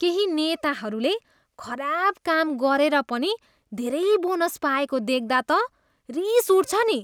केही नेताहरूले खराब काम मात्र गरेर पनि धेरै बोनस पाएको देख्दा त रिस उठ्छ नि।